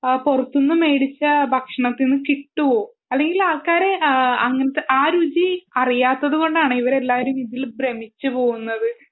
പുറത്തു നിന്നും മേടിക്കുന്ന ഭക്ഷണത്തിനു കിട്ടുമോ അല്ലെങ്കിൽ ആൾക്കാർ ആ ഒരു രുചി അറിയാത്തതു കൊണ്ടാണ് ഇതിൽ ഭ്രമിച്ചു പോവുന്നത്